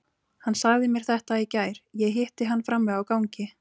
Hann sagði mér þetta í gær, ég hitti hann frammi á gangi.